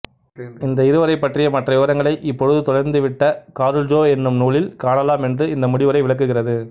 இந்த இருவரைப்பற்றிய மற்ற விவரங்களை இப்பொழுது தொலைந்து விட்ட காருல்ஜோ என்னும் நூலில் காணலாம் என்று இந்த முடிவுரை விளக்குகிறது